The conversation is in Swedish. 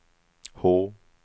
H